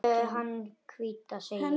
Hafðu hana hvíta, segi ég.